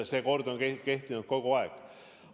See kord on kehtinud kogu aeg.